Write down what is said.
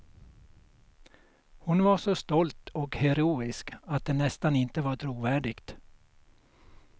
Hon var så stolt och heroisk att det nästan inte var trovärdigt.